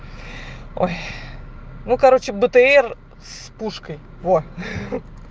ой ну короче бтр с пушкой во